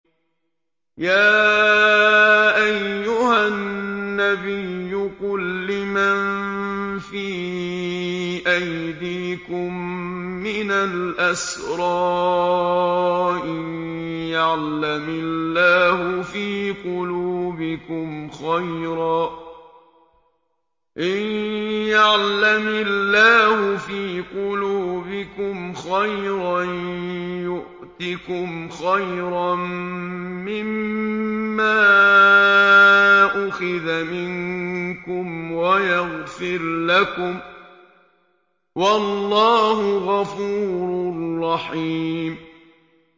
يَا أَيُّهَا النَّبِيُّ قُل لِّمَن فِي أَيْدِيكُم مِّنَ الْأَسْرَىٰ إِن يَعْلَمِ اللَّهُ فِي قُلُوبِكُمْ خَيْرًا يُؤْتِكُمْ خَيْرًا مِّمَّا أُخِذَ مِنكُمْ وَيَغْفِرْ لَكُمْ ۗ وَاللَّهُ غَفُورٌ رَّحِيمٌ